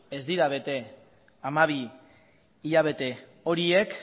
ez dira bete hamabi hilabete horiek